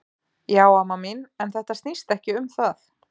Já amma mín, en þetta snýst ekki um það.